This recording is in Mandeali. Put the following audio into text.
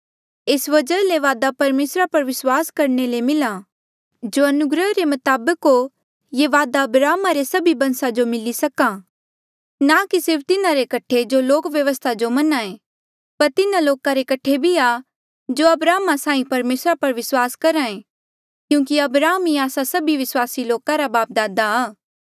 एस वजहा ले वादा परमेसरा पर विस्वास करणे ले मिल्हा ई जो अनुग्रहा रे मताबक हो ये वादा अब्राहमा रे सभी बंसा जो मिली सका ना कि सिर्फ तिन्हारे कठे जो लोक व्यवस्था जो मन्ने पर तिन्हा लोका रे कठे भी आ जो अब्राहमा साहीं परमेसरा पर विस्वास करहा ऐें क्यूंकि अब्राहम ई आस्सा सभी विस्वासी लोका रा बापदादा आ